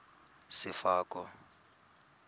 sefako